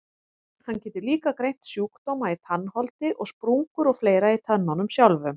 Hann getur líka greint sjúkdóma í tannholdi og sprungur og fleira í tönnunum sjálfum.